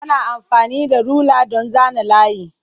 Ana amfani da rula don zana layi.